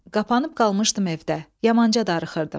Qapanıb qalmışdım evdə, yamanca darıxırdım.